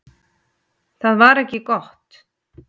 Það var ekki gott.